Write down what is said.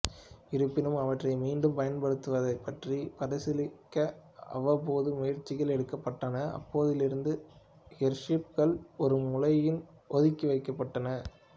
இருப்பினும் அவற்றை மீண்டும் பயன்படுத்துவது பற்றி பரிசீலிக்க அவ்வப்போது முயற்சிகள் எடுக்கப்பட்டன அப்போதிலிருந்து ஏர்ஷிப்கள் ஒரு மூலையில் ஒதுக்கப்பட்டுவிட்டன